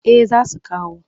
Eh za su kawo